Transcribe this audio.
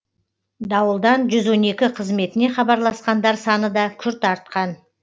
дауылдан жүз он екі қызметіне хабарласқандар саны да күрт артқан